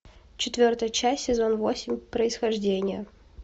четвертая часть сезон восемь происхождение